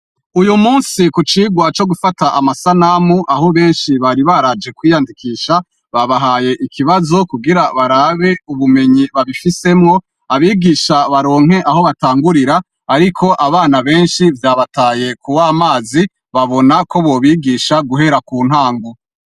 Uyu musi ku cigwa co gufata amasanamu aho benshi bari baraje kwiyandikisha, babahaye ikibazo kugira barabe ubumenyi babifisemwo, abigisha baronke aho batangurira, ariko abana benshi vyabataye ku w'amazi, babona ko bobigisha guhera ku ntango.